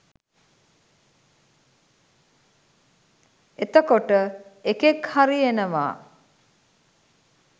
එතකොට එකෙක් හරි එනවා